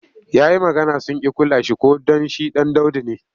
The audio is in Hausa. Ya yi magana sun ƙi kula shi ko don shi ɗan daudu ne.